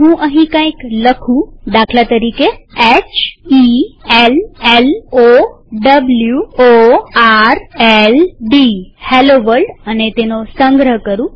હું અહીં કંઈક લખું દાખલા તરીકે h e l l O w o r l D અને તેનો સંગ્રહ કરું